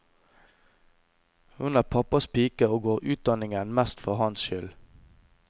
Hun er pappas pike og går utdanningen mest for hans skyld.